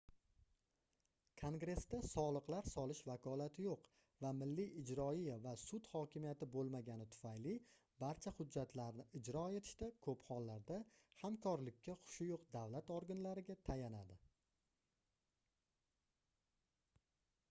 kongressda soliqlar solish vakolati yoʻq va milliy ijroiya va sud hokimiyati boʻlmagani tufayli barcha hujjatlarni ijro etishda koʻp hollarda hamkorlikka xushi yoʻq davlat organlariga tayanardi